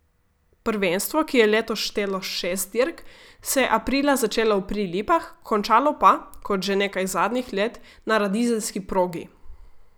Prvenstvo, ki je letos štelo šest dirk, se je aprila začelo v Prilipah, končalo pa, kot že nekaj zadnjih let, na radizelski progi.